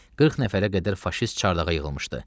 40 nəfərə qədər faşist çardağa yığılmışdı.